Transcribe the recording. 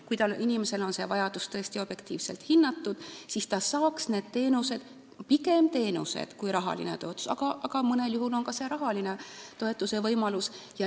Kui inimese vajadus on tõesti objektiivselt hinnatud, siis ta saaks neid teenuseid, pigem teenuseid kui rahalist toetust, aga mõnel juhul on ka rahalise toetuse võimalus.